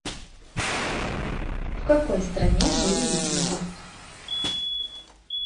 в какой стране жили викинги